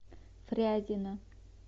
фрязино